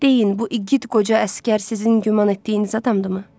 "Deyin, bu igid qoca əsgər sizin güman etdiyiniz adamdırmı?"